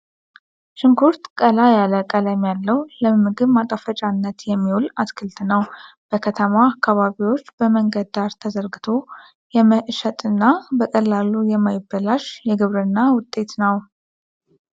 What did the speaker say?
ሽንኩርት ቀላ ያለ ቀለም ያለው ለምግብ ማጣፈጫነት የሚውል አትክልት ነው። በከተማ አካባቢዎች በመንገድ ዳር ተዘርግቶ የመሸጥ እና በቀላሉ የማይበላሽ የግብርና ውጤት ነው።